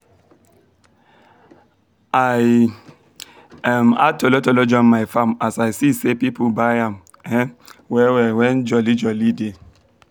i um add tolotolo join my farm as i se say people buy am um well well when joli joli dey